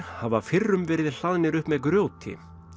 hafa fyrrum verið hlaðnir upp með grjóti